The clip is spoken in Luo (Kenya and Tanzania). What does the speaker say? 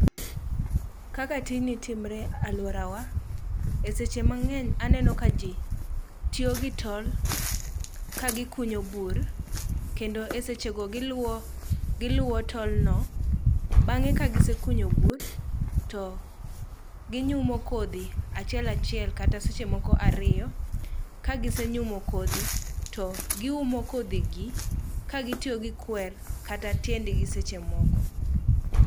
Kaka tijni timre alworawa, e seche mang'eny aneno ka ji tiyo gi tol kagikunyo bur kendo e sechego giluwo tolno, bang'e kagisekunyo bur to ginyumo kodhi achiel achiel kata seche moko ariyo, kagisenyumo kodhi to giumo kodhigi kagitiyo gi kwer kata tiendgi seche moko.